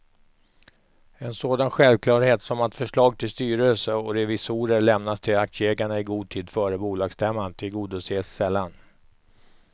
En sådan självklarhet som att förslag till styrelse och revisorer lämnas till aktieägarna i god tid före bolagsstämman tillgodoses sällan.